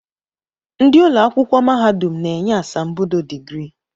Ndị ụlọakwụkwọ mahadum na-enye asambodo digrii